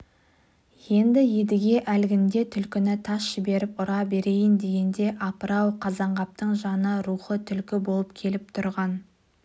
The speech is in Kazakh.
енді едіге әлгінде түлкіні тас жіберіп ұра берейін дегенде апыр ау қазанғаптың жаны рухы түлкі болып келіп тұрған